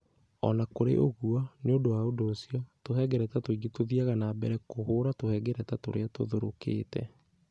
O na kũrĩ ũguo, nĩ ũndũ wa ũndũ ũcio, tũhengereta tũingĩ tũthiaga na mbere kũhũũra tũhengereta tũrĩa tũthũrũkĩte.